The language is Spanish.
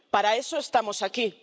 Para eso estamos aquí.